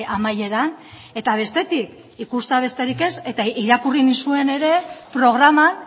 amaieran eta bestetik ikustea besterik ez irakurri nizuen ere programan